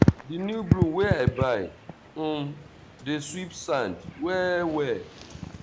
dis new broom wey i buy um dey sweep sand well-well.